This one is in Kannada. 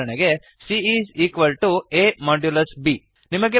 ಉದಾಹರಣೆಗೆ160 C is equal to a modulus B